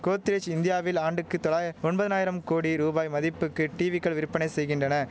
கோத்ரேஜ் இந்தியாவில் ஆண்டுக்கு தொள்ளாய ஒம்பதனாயிரம் கோடி ரூபாய் மதிப்புக்கு டீவிக்கள் விற்பனை செய்கின்றன